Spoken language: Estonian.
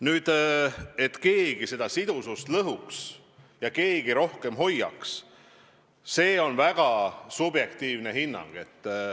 Nüüd see, et keegi sidusust lõhuks ja keegi rohkem hoiaks, on väga subjektiivne hinnang.